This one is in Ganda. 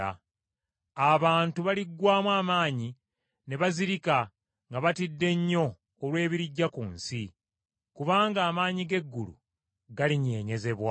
Abantu baliggwaamu amaanyi ne bazirika nga batidde nnyo olw’ebirijja ku nsi; kubanga amaanyi g’eggulu galinyeenyezebwa.